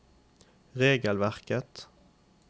regelverket